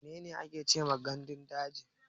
Mene ne gandun daji?